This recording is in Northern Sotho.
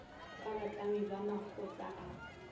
ka bahlami ba makgotla a